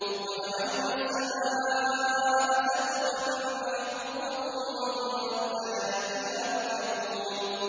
وَجَعَلْنَا السَّمَاءَ سَقْفًا مَّحْفُوظًا ۖ وَهُمْ عَنْ آيَاتِهَا مُعْرِضُونَ